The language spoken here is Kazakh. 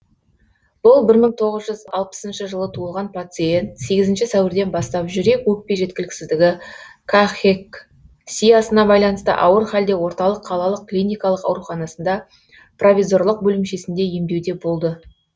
бұл бір мың тоғыз жүз алпысыншы жылы туылған пациент сегізінші сәуірден бастап жүрек өкпе жеткіліксіздігі кахексиясына байланысты ауыр халде орталық қалалық клиникалық ауруханасында провизорлық бөлімшесінде емдеуде болды